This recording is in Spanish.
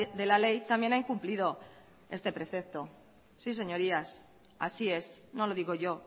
de la ley también ha incumplido este precepto sí señorías así es no lo digo yo